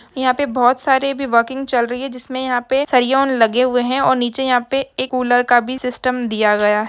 यहाँ पे बहुत सारे भी वर्किंग चल रही है जिस में यहाँ पे लगे हुए है और नीचे यहां पे एक कूलर का भी सिस्टम दिया हुआ है।